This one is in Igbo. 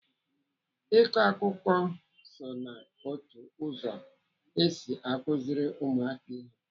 Ịkọ akụkọ so ná otu ụzọ esi akụziri ụmụaka ihe.